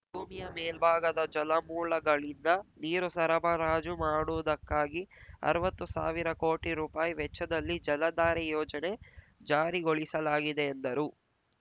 ಭೂಮಿಯ ಮೇಲ್ಭಾಗದ ಜಲಮೂಲಗಳಿಂದ ನೀರು ಸರಬರಾಜು ಮಾಡುವುದಕ್ಕಾಗಿ ಅರ್ವತ್ತು ಸಾವಿರ ಕೋಟಿ ರುಪಾಯಿ ವೆಚ್ಚದಲ್ಲಿ ಜಲಧಾರೆ ಯೋಜನೆ ಜಾರಿಗೊಳಿಸಲಾಗಿದೆ ಎಂದರು